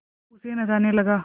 गप्पू उसे नचाने लगा